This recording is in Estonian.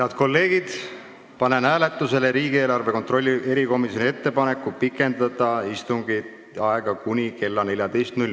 Head kolleegid, panen hääletusele riigieelarve kontrolli erikomisjoni ettepaneku pikendada istungi aega kuni kella 14-ni.